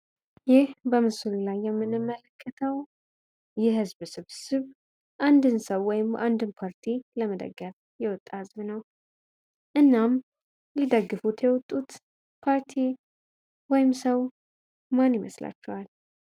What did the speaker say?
ይህ በምስሉ ላይ የምንመለከተው የህዝብ ስብስብ አንድን ሰው ወይም አንድን ፓርቲ ለመደገፍ የወጣ ህዝብ ነው። እናም ሊደግፉት የወጡት ፓርቲ ወይም ሰው ማን ይመስላችኋል?